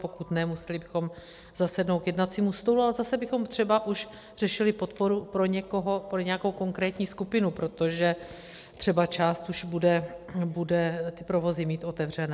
Pokud ne, museli bychom zasednout k jednacímu stolu a zase bychom třeba už řešili podporu pro nějakou konkrétní skupinu, protože třeba část už bude ty provozy mít otevřené.